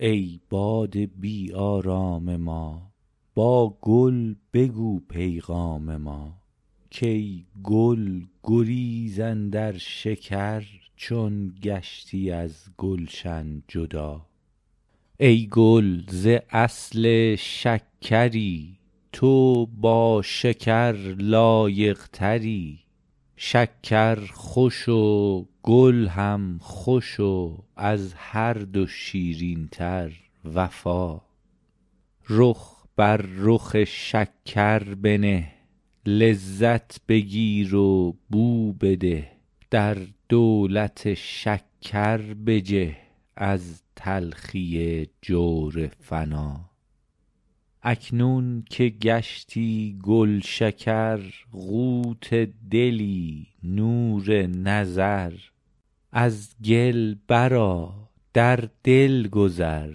ای باد بی آرام ما با گل بگو پیغام ما کای گل گریز اندر شکر چون گشتی از گلشن جدا ای گل ز اصل شکری تو با شکر لایق تری شکر خوش و گل هم خوش و از هر دو شیرین تر وفا رخ بر رخ شکر بنه لذت بگیر و بو بده در دولت شکر بجه از تلخی جور فنا اکنون که گشتی گلشکر قوت دلی نور نظر از گل برآ بر دل گذر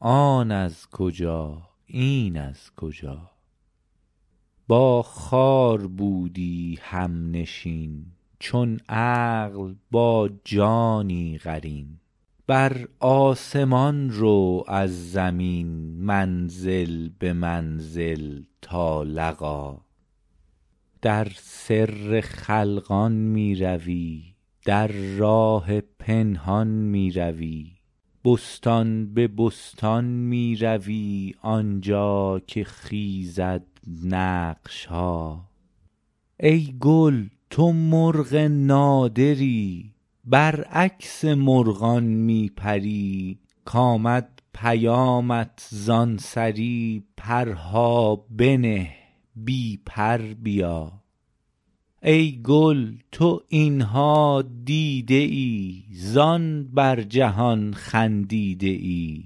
آن از کجا این از کجا با خار بودی همنشین چون عقل با جانی قرین بر آسمان رو از زمین منزل به منزل تا لقا در سر خلقان می روی در راه پنهان می روی بستان به بستان می روی آن جا که خیزد نقش ها ای گل تو مرغ نادری برعکس مرغان می پری کامد پیامت زان سری پرها بنه بی پر بیا ای گل تو این ها دیده ای زان بر جهان خندیده ای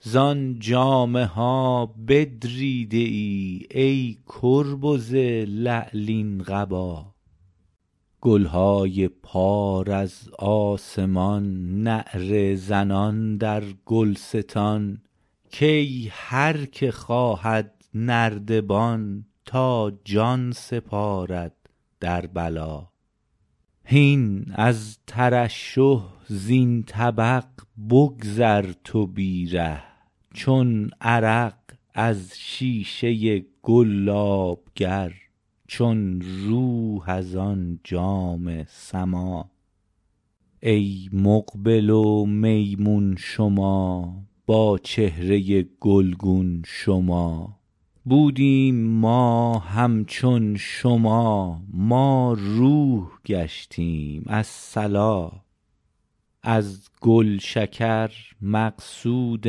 زان جامه ها بدریده ای ای کربز لعلین قبا گل های پار از آسمان نعره زنان در گلستان کای هر که خواهد نردبان تا جان سپارد در بلا هین از ترشح زین طبق بگذر تو بی ره چون عرق از شیشه گلاب گر چون روح از آن جام سما ای مقبل و میمون شما با چهره گلگون شما بودیم ما همچون شما ما روح گشتیم الصلا از گلشکر مقصود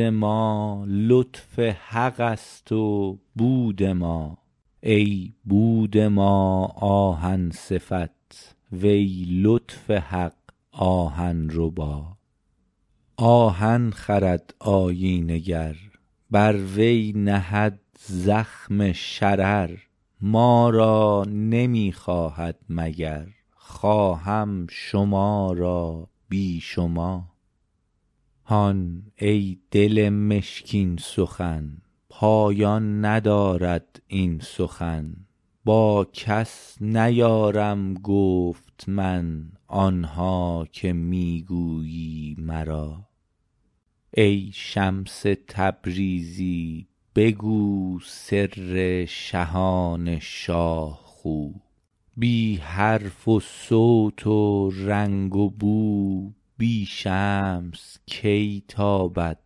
ما لطف حق ست و بود ما ای بود ما آهن صفت وی لطف حق آهن ربا آهن خرد آیینه گر بر وی نهد زخم شرر ما را نمی خواهد مگر خواهم شما را بی شما هان ای دل مشکین سخن پایان ندارد این سخن با کس نیارم گفت من آن ها که می گویی مرا ای شمس تبریزی بگو سر شهان شاه خو بی حرف و صوت و رنگ و بو بی شمس کی تابد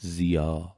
ضیا